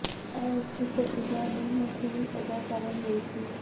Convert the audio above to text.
ਇਹ ਉਸ ਦੀ ਪ੍ਰਤਿਭਾ ਨੂੰ ਮਸੂਲ ਅਦਾ ਕਰਨ ਲਈ ਸੀ